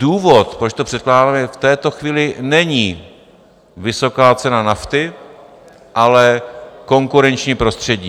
Důvod, proč to předkládáme, v této chvíli není vysoká cena nafty, ale konkurenční prostředí.